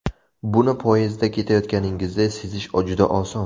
Buni poyezdda ketayotganingizda sezish juda oson.